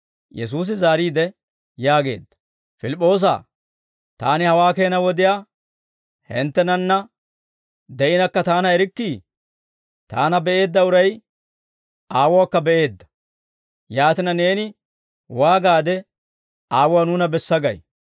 Yesuusi zaariide yaageedda; «Pilip'p'oosaa, Taani hawaa keena wodiyaa hinttenanna de'inakka Taana erikkii? Taana be'eedda uray Aawuwaakka be'eedda; yaatina, neeni waagaade, ‹Aawuwaa nuuna bessa› gay?»